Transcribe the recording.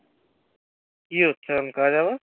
কি হচ্ছে এখন কাজ এখন?